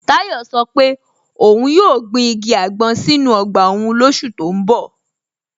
Tayo sọ́ pé óun yóò gbìn igi agbọn sínu ogba ọ́un lósù tó n bọ̀.